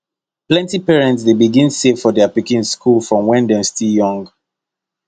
plenty parents dey begin save for their pikin school from when dem still young